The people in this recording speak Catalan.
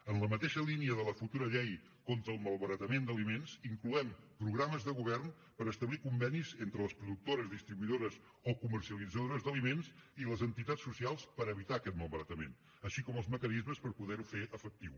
en la mateixa línia de la futura llei contra el malbaratament d’aliments incloem programes de govern per establir convenis entre les productores distribuïdores o comercialitzadores d’aliments i les entitats socials per evitar aquesta malbaratament així com els mecanismes per poder ho fer efectiu